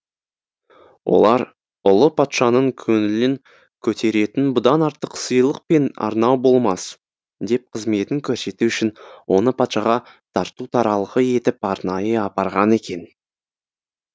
олар ұлы патшаның көңілін көтеретін бұдан артық сыйлық пен арнау болмас деп қызметін көрсету үшін оны патшаға тарту таралғы етіп арнайы апарған екен